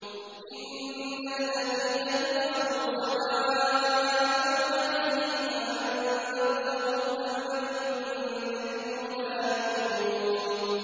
إِنَّ الَّذِينَ كَفَرُوا سَوَاءٌ عَلَيْهِمْ أَأَنذَرْتَهُمْ أَمْ لَمْ تُنذِرْهُمْ لَا يُؤْمِنُونَ